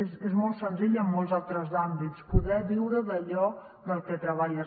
és molt senzill en molts altres àmbits poder viure d’allò del que treballes